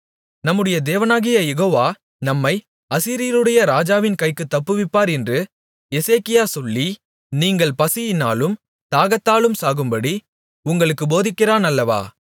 நம்முடைய தேவனாகிய யெகோவா நம்மை அசீரியருடைய ராஜாவின் கைக்குத் தப்புவிப்பார் என்று எசேக்கியா சொல்லி நீங்கள் பசியினாலும் தாகத்தாலும் சாகும்படி உங்களுக்குப் போதிக்கிறான் அல்லவா